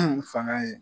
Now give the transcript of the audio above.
Fanga ye